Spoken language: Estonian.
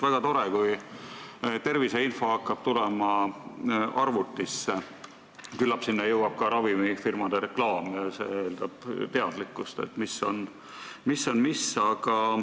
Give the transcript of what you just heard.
Väga tore, kui terviseinfo hakkab tulema arvutisse, küllap sinna jõuab ka ravimifirmade reklaam ja see eeldab teadlikkust, mis on mis.